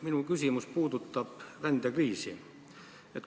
Minu küsimus puudutab rändekriisi.